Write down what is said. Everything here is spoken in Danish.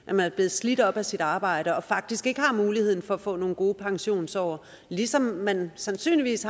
at man er blevet slidt op af sit arbejde og faktisk ikke har mulighed for at få nogle gode pensionsår ligesom man sandsynligvis